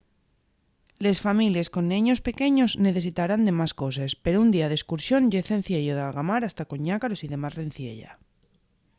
les families con neños pequeños necesitarán de más coses pero un día d'escursión ye cenciello d'algamar hasta con ñácaros y demás reciella